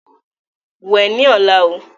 Wẹ ni ọ̀la o!